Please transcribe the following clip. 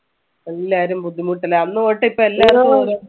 എല്ലാരും ബുദ്ധിമുട്ടിലാ അന്ന് തൊട്ട് ഇപ്പൊ എല്ലാരും